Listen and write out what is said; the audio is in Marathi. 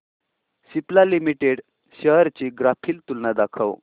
सिप्ला लिमिटेड शेअर्स ची ग्राफिकल तुलना दाखव